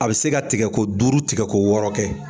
A bɛ se ka tɛgɛko duuru tigɛko wɔɔrɔ kɛ.